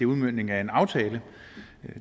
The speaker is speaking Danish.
udmøntningen af en aftale